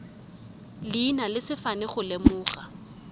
leina le sefane go lemoga